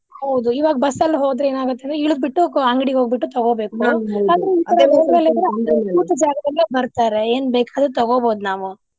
ಹೌದು ಇವಾಗ್ ಬಸ್ಸಲ್ಲಿ ಹೋದ್ರೆ ಏನಾಗುತ್ ಹೇಳಿ ಇಳ್ದ್ ಬಿಟ್ಟು ಅಂಗಡಿಗ್ ಹೋಗ್ಬಿಟ್ಟು ತಗೋಬೇಕು ಕೂತ ಜಗದಲ್ಲೇ ಬರ್ತಾರೆ ಏನ್ ಬೇಕಾದ್ರು ತಗೊಬಹುದ್ ನಾವು.